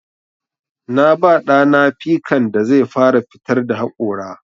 Na ba ɗa na pikan da zai fara fitar da haƙora.